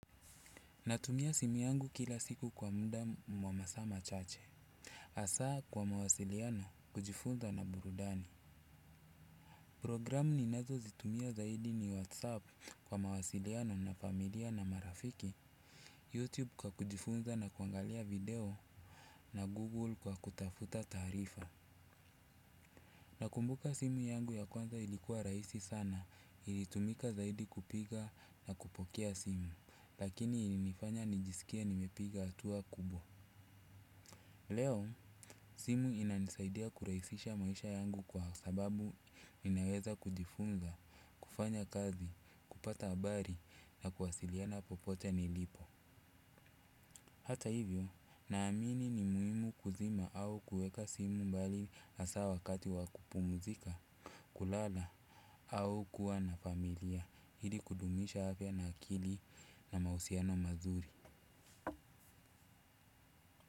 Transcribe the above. Natumia simu yangu kila siku kwa muda wa masaa machache. Hasa kwa mawasiliano kujifunza na burudani. Programu ninazozitumia zaidi ni WhatsApp kwa mawasiliano na familia na marafiki. YouTube kwa kujifunza na kuangalia video na Google kwa kutafuta taarifa. Nakumbuka simu yangu ya kwanza ilikuwa rahisi sana ilitumika zaidi kupika na kupokea simu. Lakini ilinifanya nijisikie nimepiga hatua kubwa. Leo, simu inanisaidia kurahisisha maisha yangu kwa sababu inaweza kujifunza, kufanya kazi, kupata habari na kuwasiliana popote nilipo. Hata hivyo, naamini ni muhimu kuzima au kuweka simu mbali hasa wakati wa kupumuzika, kulala au kuwa na familia, ili kudumisha afya na akili na mahusiano mazuri.